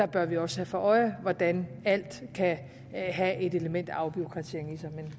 bør vi også have for øje hvordan alt kan have et element af afbureaukratisering i sig